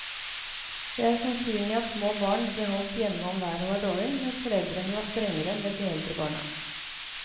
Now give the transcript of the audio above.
Det er sannsynlig at små barn ble holdt hjemme om været var dårlig, mens foreldrene var strengere med de eldre barna.